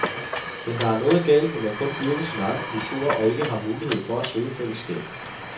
Men der er noget galt, når man kun dyrker sin egen kultur og ikke har mulighed for at søge fællesskabet.